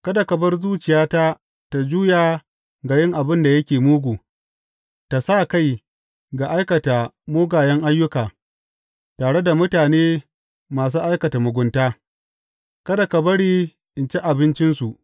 Kada ka bar zuciyata ta juya ga yin abin da yake mugu, ta sa kai ga aikata mugayen ayyuka tare da mutane masu aikata mugunta; kada ka bari in ci abincinsu.